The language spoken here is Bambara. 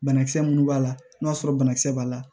Banakisɛ minnu b'a la n'a sɔrɔ banakisɛ b'a la